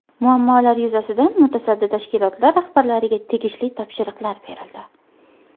Muammolar yuzasidan mutasaddi tashkilotlar rahbarlariga tegishli topshiriqlar berildi.